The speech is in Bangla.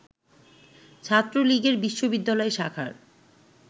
ছাত্রলীগের বিশ্ববিদ্যালয় শাখার